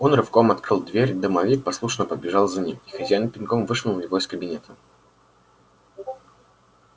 он рывком открыл дверь домовик послушно побежал за ним и хозяин пинком вышвырнул его из кабинета